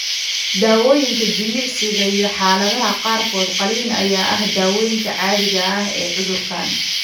Daawooyinka, jimicsiga, iyo, xaaladaha qaarkood, qalliin ayaa ah daaweynta caadiga ah ee cudurkan.